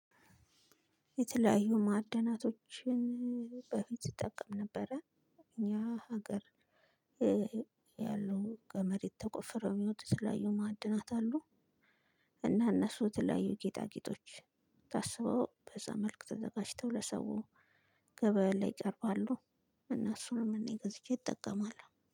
የተለያዩ ማዕደናቶችን በፊት እጠቀም ነበረ። እኛ ሀገር። ያለው ገመድ የተቆፍረው የሚወጡ የተለያዩ ማዕድናት እሉ። እና እነሱ የተለያዩ ጌጣጌጦች ታስበው በዛ መልክ ተዘጋጅተው ለሰው ገበያ ላይ ይቀርባሉ። እነሱንም እኔ ገዝቼ እጠቀማለው